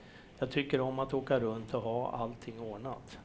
Jag tycker om att åka runt och ha allting ordnat.